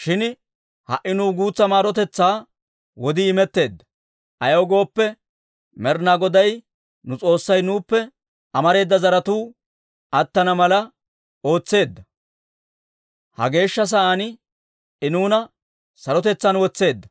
«Shin ha"i nuw guutsa maarotetsaa wodii imetteedda; ayaw gooppe, Med'ina Goday nu S'oossay nuuppe amareeda zeretsatuu attana mala ootseedda; ha geeshsha sa'aan I nuuna sarotetsaan wotseedda.